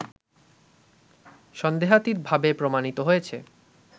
সন্দেহাতীতভাবে প্রমাণিত হয়েছে